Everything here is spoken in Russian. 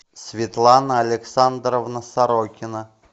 светлана александровна сорокина